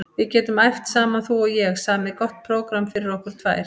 Við getum æft saman þú og ég, samið gott prógramm fyrir okkur tvær.